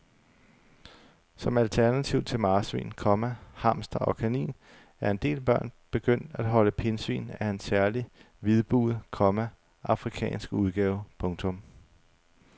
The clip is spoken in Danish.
Som alternativ til marsvin, komma hamster og kanin er en del børn begyndt at holde pindsvin af en særlig hvidbuget, komma afrikansk udgave. punktum